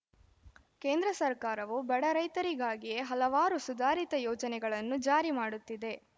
ಕೇಂದ್ರ ಸರ್ಕಾರವು ಬಡ ರೈತರಿಗಾಗಿಯೇ ಹಲವಾರು ಸುಧಾರಿತ ಯೋಜನೆಗಳನ್ನು ಜಾರಿ ಮಾಡುತ್ತಿದೆ